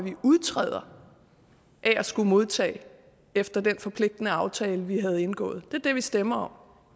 udtræde af at skulle modtage efter den forpligtende aftale vi har indgået det er det vi stemmer om